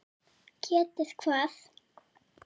Getið hvað?